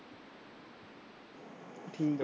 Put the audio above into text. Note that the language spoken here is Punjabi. ਠੀਕ ਹੈ